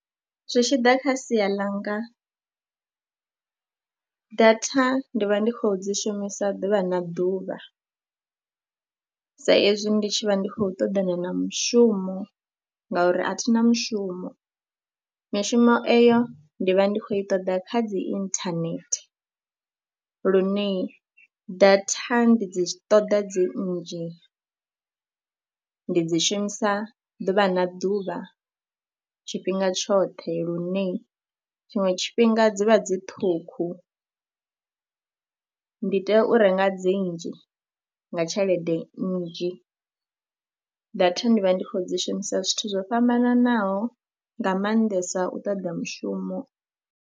Zwi tshi ḓa kha sia ḽanga, data ndi vha ndi khou dzi shumisa ḓuvha na ḓuvha sa ezwi ndi tshi vha ndi khou ṱoḓana na mushumo ngauri a thi na mushumo. Mishumo eyo ndi vha ndi khou i ṱoḓa kha dzi inthanethe lune data ndi dzi ṱoḓa dzi nnzhi. Ndi dzi shumisa ḓuvha na ḓuvha tshifhinga tshoṱhe lune tshiṅwe tshifhinga dzi vha dzi ṱhukhu, ndi tea u renga dzi nnzhi nga tshelede nnzhi. Data ndi vha ndi khou dzi shumisa zwithu zwo fhambananaho nga maanḓesa u ṱoḓa mushumo.